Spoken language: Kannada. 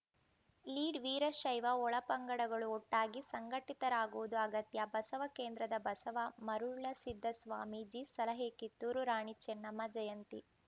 ಲೀಡ್‌ ವೀರಶೈವ ಒಳಪಂಗಡಗಳು ಒಟ್ಟಾಗಿ ಸಂಘಟಿತರಾಗುವುದು ಅಗತ್ಯ ಬಸವ ಕೇಂದ್ರದ ಬಸವ ಮರುಳಸಿದ್ದ ಸ್ವಾಮೀಜಿ ಸಲಹೆ ಕಿತ್ತೂರು ರಾಣಿ ಚೆನ್ನಮ್ಮ ಜಯಂತಿ